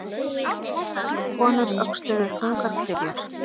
Þessar konur öxluðu þungar klyfjar.